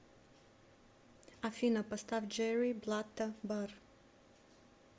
афина поставь джерри блатта бар